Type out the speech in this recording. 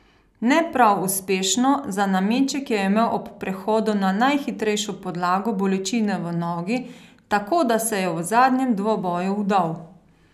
Ne prav uspešno, za nameček je imel ob prehodu na najhitrejšo podlago bolečine v nogi, tako da se je v zadnjem dvoboju vdal.